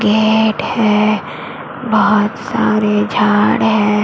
Gate है बहोत सारे झाड़ है।